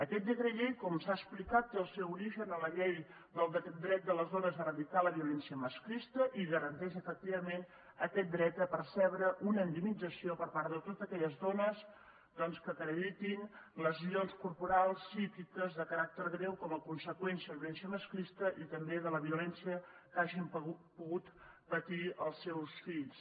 aquest decret llei com s’ha explicat té el seu origen en la llei del dret de les dones a erradicar la violència masclista i garanteix efectivament aquest dret a percebre una indemnització per part de totes aquelles dones doncs que acreditin lesions corporals psíquiques de caràcter greu com a conseqüència de la violència masclista i també de la violència que hagin pogut patir els seus fills